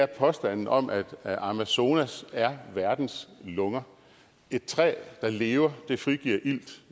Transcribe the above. påstanden om at amazonas er verdens lunger et træ der lever frigiver ilt